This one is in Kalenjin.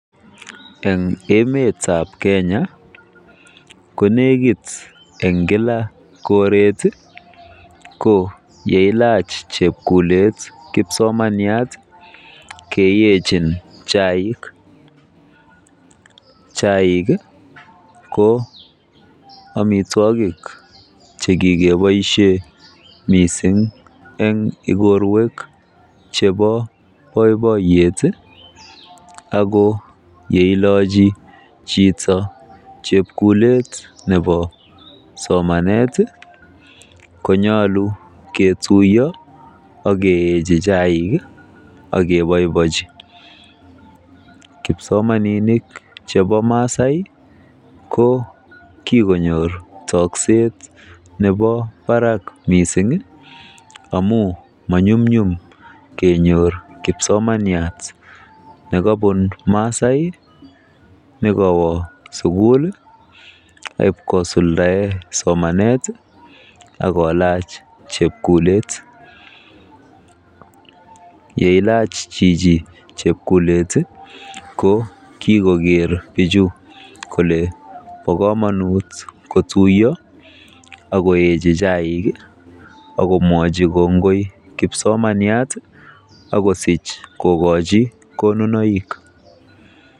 Eng emetab Kenya ko nekit eng kila koret ko yeilach chepkulet kipsomaniat keyechin chaik. Chaik ko omitwogik chekikeboisie mising eng ikorwek chebo boiboiyet ako ye ilochi chito chepkulet nebo somanet konyolu ketuiyo akeyechi chaik akeboiboji. Kipsomaninik chebo Maasai ko kikonyoor tokset nebo barak mising amu manyumnyum kenyor kipsomaniat nebunu Maasai nekowo sukul akosuldae somanet akolaach chepkulet. Yeilach chichi chepkulet ko kikoker bichu kole bo komonut ketuiyo akoechi chaik akomwochi kongoi kipsomaniat akosich kokochi konunoik.